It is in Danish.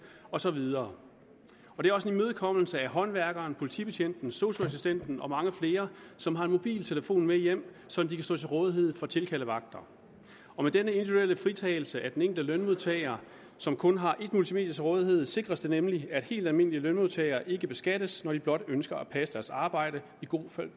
og så videre det er også en imødekommelse af håndværkeren politibetjenten sosu assistenten og mange flere som har en mobiltelefon med hjem så de kan stå til rådighed for tilkaldevagter med denne individuelle fritagelse af den enkelte lønmodtager som kun har et multimedie til rådighed sikres det nemlig at helt almindelige lønmodtagere ikke beskattes når de blot ønsker at passe deres arbejde i god